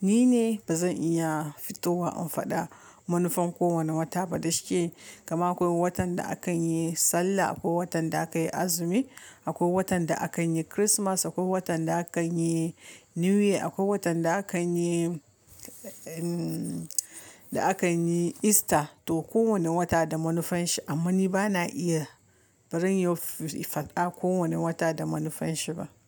Ni ne ba zan iya fitowa in faɗa manufan kowane wata ba. Da shike, gama akwai watan da a kan yi sallah, akwai watan da aka yi azumi, akwai watan da aka yi Kirismas, akwai watan da aka yi New Year, akwai watan da aka yi, da aka yi Easter. To kowane wata da manufan shi amma ni ba na iya barin yau faɗa kowane wata da manufan shi ba.